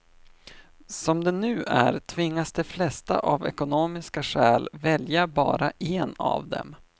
Som det nu är tvingas de flesta av ekonomiska skäl välja bara en av dem.